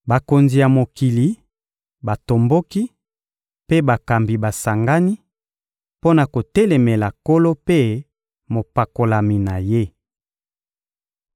Bakonzi ya mokili batomboki, mpe bakambi basangani mpo na kotelemela Nkolo mpe Mopakolami na Ye.»